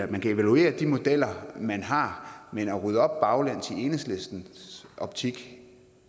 man kan evaluere de modeller man har men at rydde op baglæns i enhedslistens optik